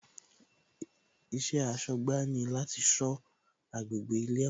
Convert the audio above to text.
Iṣẹ́ aṣọ́gbà ni láti sọ agbègbè ilé ẹ̀kọ́